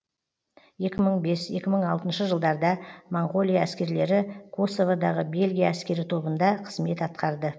екі мың бес екі мың алтыншы жылдарда моңғолия әскерлері косоводағы бельгия әскери тобында қызмет атқарды